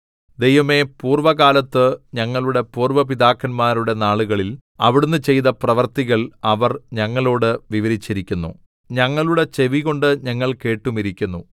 ദൈവമേ പൂർവ്വകാലത്ത് ഞങ്ങളുടെ പൂര്‍വ്വ പിതാക്കന്മാരുടെ നാളുകളിൽ അവിടുന്ന് ചെയ്ത പ്രവൃത്തികൾ അവർ ഞങ്ങളോട് വിവരിച്ചിരിക്കുന്നു ഞങ്ങളുടെ ചെവികൊണ്ട് ഞങ്ങൾ കേട്ടുമിരിക്കുന്നു